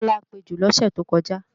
Tọ́lá pejò lọ́sẹ̀ tó kọjá